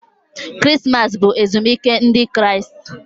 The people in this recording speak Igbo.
Krismas bụ ezumike Ndị Kraịst.